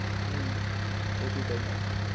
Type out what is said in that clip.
હું ઓછું કરી નાખ્યું.